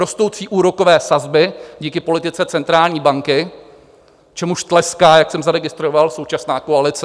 Rostoucí úrokové sazby díky politice centrální banky, čemuž tleská, jak jsem zaregistroval, současná koalice.